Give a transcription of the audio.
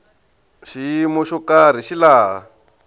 xiyimo xo karhi hi laha